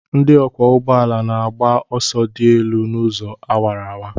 Ndị ọkwọ ụgbọala na-agba ọsọ dị elu n'ụzọ awara awara.